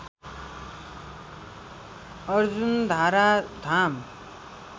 Arjundhara Dham